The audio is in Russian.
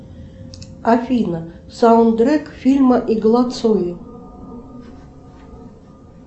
афина саундтрек к фильму игла цоя